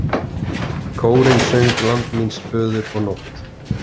Kórinn söng Land míns föður og Nótt.